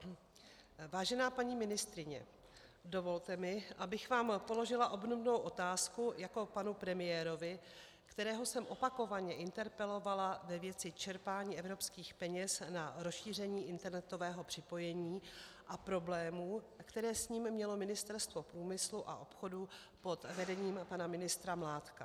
Vážená paní ministryně, dovolte mi, abych vám položila obdobnou otázku jako panu premiérovi, kterého jsem opakovaně interpelovala ve věci čerpání evropských peněz na rozšíření internetového připojení a problémů, které s ním mělo Ministerstvo průmyslu a obchodu pod vedením pana ministra Mládka.